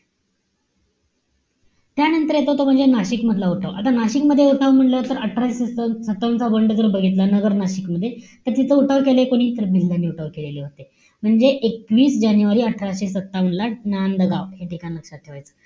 त्यानंतर तो येतो म्हणजे नाशिकमधील उठाव. आता नाशिकमध्ये उठाव म्हण्टल्यानंतर अठराशे सात सत्तावन्न चा बंड जर बघितला नगर-नाशिकमध्ये, तर तिथे उठाव केले कोणी? तर भिल्लांनि उठाव केलेले होते. म्हणजे एकवीस जानेवारी अठराशे सत्तावन्न ला, नांदगाव, हे ठिकाण लक्षात ठेवायचं.